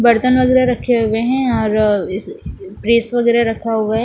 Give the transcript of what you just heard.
बर्तन वगैरह रखे हुए हैं और इस प्रेस वगैरह रखा हुआ है।